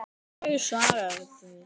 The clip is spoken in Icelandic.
Hverju svararðu þessu?